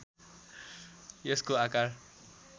यसको आकार